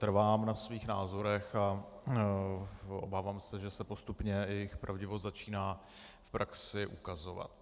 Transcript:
Trvám na svých názorech a obávám se, že se postupně jejich pravdivost začíná v praxi ukazovat.